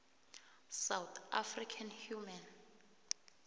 south african human